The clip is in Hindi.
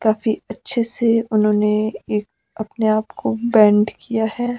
काफी अच्छे से उन्होंने एक अपने आपको बैंड किया है।